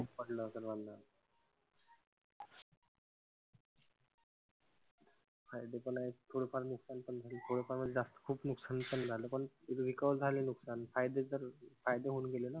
फायदे पण आहेत थोडे फार नुकसान पण. थोड फार म्हणजे खूप नुकसान पण झालं पण recover झाले लोक त्यातनं. फायदे तर फायदे होऊन गेले ना.